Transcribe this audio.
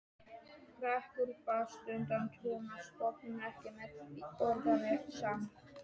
Hreggviður baðst undan trúnaðarstörfum, ekki með því orðalagi samt.